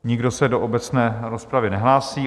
Nikdo se do obecné rozpravy nehlásí.